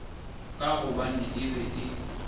ka gobane e be e